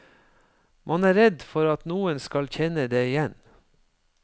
Man er redd for at noen skal kjenne deg igjen.